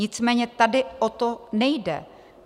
Nicméně tady o to nejde.